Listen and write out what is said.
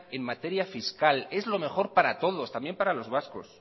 en materia fiscal es lo mejor para todos también para los vascos